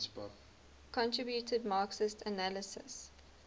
contributed marxist analyses